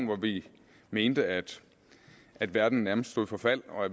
hvor vi mente at at verden nærmest stod for fald og